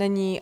Není.